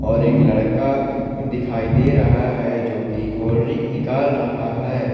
और एक लड़का दिखाई दे रहा है जो कि कोल्ड ड्रिंक निकल रहा है।